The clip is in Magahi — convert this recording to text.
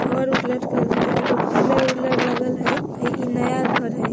घर ओर लटकल हई। एकर पिलर ओलर लगल हई। आ ई नया घर हई।